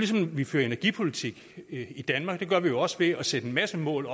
som vi fører energipolitik her i danmark det gør vi jo også ved at sætte en masse mål